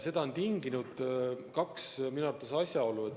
Selle on tinginud minu arvates kaks asjaolu.